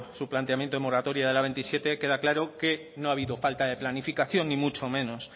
su planteamiento de moratoria de la veintisiete queda claro que no ha habido falta de planificación ni mucho menos